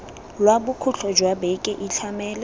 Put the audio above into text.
lwa bokhutlo jwa beke itlhamele